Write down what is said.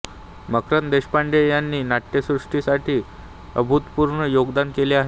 मकरंद देशपांडे याने नाट्यसृष्टीसाठी अभूतपूर्व योगदान केले आहे